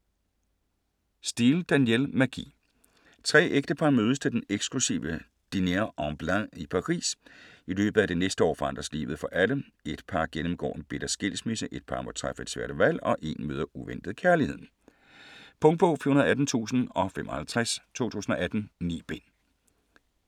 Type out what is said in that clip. Steel, Danielle: Magi Tre ægtepar mødes til den eksklusive Dîner en Blanc i Paris. I løbet af det næste år forandres livet for alle. Ét par gennemgår en bitter skilsmisse, ét par må træffe et svært valg og én møder uventet kærligheden. Punktbog 418055 2018. 9 bind.